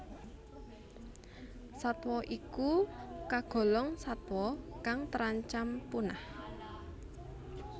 Satwa ik kagolong satwa kang terancam punah